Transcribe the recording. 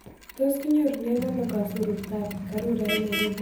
Tos'kinyorunen ano kasururtap karura eng' nairobi